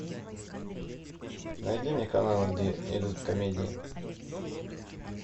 найди мне каналы где идут комедии